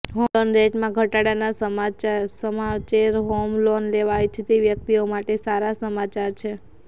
home loan રેટમાં ઘટાડાના સમાચેર હોમ લોન લેવા ઇચ્છતી વ્યક્તિઓ માટે સારા સમાચાર છે